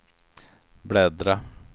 bläddra